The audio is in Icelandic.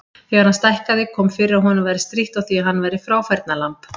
Þegar hann stækkaði kom fyrir að honum væri strítt á því að hann væri fráfærnalamb.